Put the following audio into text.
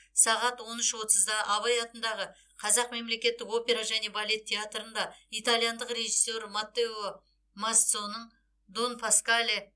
сағат он үш отызда абай атындағы қазақ мемлекеттік опера және балет театрында итальяндық режиссер маттео мазцоның дон паскале